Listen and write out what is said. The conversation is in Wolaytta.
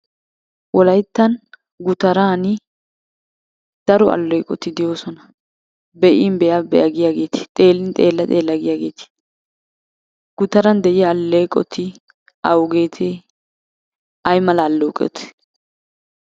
Wolayttan gutaran daro alleeqoti de'oosona. Be'in be'a be'a giyageeti, xeellin xeella xeella giyageeti, gutaran de'iya alleeqoti awugeetee? Ay mala alleeqotee?